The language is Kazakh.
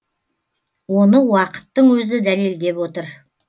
оны уақыттың өзі дәлелдеп отыр